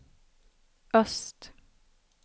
öst